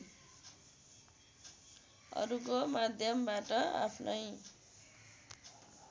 अरुको माध्यमबाट आफ्नै